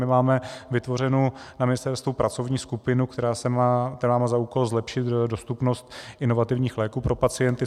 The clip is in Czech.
My máme vytvořenu na ministerstvu pracovní skupinu, která má za úkol zlepšit dostupnost inovativních léků pro pacienty.